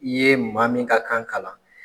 I ye maa min ka kan kalan.